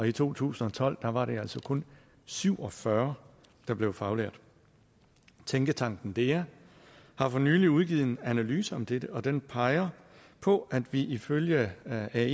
i to tusind og tolv var det altså kun syv og fyrre der blev faglærte tænketanken dea har for nylig udgivet en analyse om dette og den peger på at vi ifølge ae